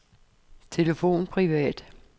telefon privat